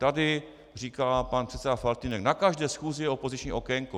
Tady říkal pan předseda Faltýnek: Na každé schůzi je opoziční okénko.